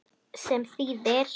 Sem þýðir?